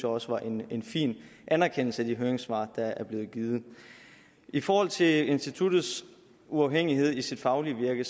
også var en fin anerkendelse af de høringssvar der er blevet givet i forhold til instituttets uafhængighed i sit faglige virke